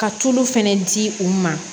Ka tulu fɛnɛ di u ma